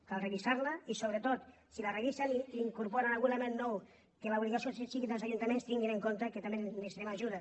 cal revisar la i sobretot si la revisen i hi incorporen algun element nou que l’obligació sigui dels ajuntaments tinguin en compte que també necessitem ajuda